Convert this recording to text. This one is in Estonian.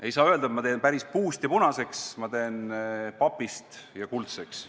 Ei saa öelda, et ma teen päris puust ja punaseks, ma teen papist ja kuldseks.